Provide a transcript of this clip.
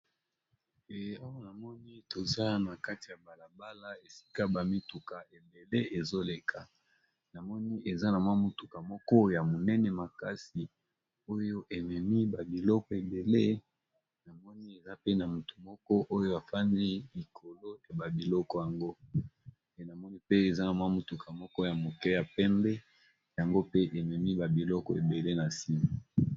Eh awa namoni toza na kati ya bala bala esika ba mituka ebele ezoleka, namoni eza na mwa mutuka moko ya monene makasi oyo ememi ba biloko ebele. Namoni eza pe na motu moko oyo afandi likolo ya ba biloko yango, eh namoni pe eza na mwa mutuka moko ya moke ya pembe yango pe ememi ba biloko ebele na sima.